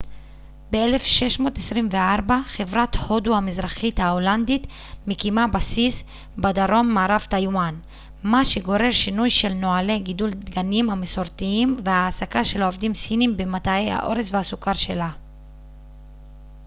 ב-1624 חברת הודו המזרחית ההולנדית מקימה בסיס בדרום מערב טייוואן מה שגורר שינוי של נוהלי גידול דגנים המסורתיים והעסקה של עובדים סינים במטעי האורז והסוכר שלה